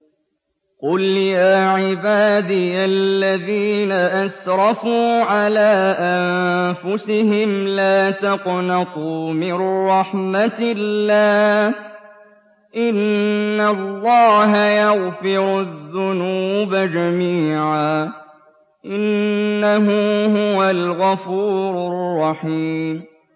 ۞ قُلْ يَا عِبَادِيَ الَّذِينَ أَسْرَفُوا عَلَىٰ أَنفُسِهِمْ لَا تَقْنَطُوا مِن رَّحْمَةِ اللَّهِ ۚ إِنَّ اللَّهَ يَغْفِرُ الذُّنُوبَ جَمِيعًا ۚ إِنَّهُ هُوَ الْغَفُورُ الرَّحِيمُ